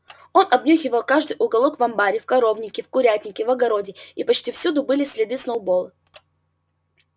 он обнюхивал каждый уголок в амбаре в коровнике в курятнике в огороде и почти всюду были следы сноуболла